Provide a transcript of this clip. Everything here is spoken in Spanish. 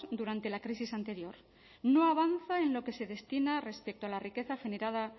durante la crisis anterior no avanza en lo que se destina respecto a la riqueza generada